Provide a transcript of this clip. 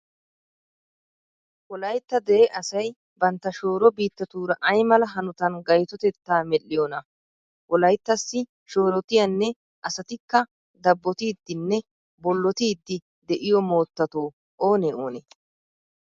Wolaytta dere asay bantta shooro biittaatuura ay mala hanotan gaytotettaa medhdhiyonaa? Wolayttassi shoorotiyanne asatikka dabbotidinne bollotidi de'iyo moottato oonee oonee?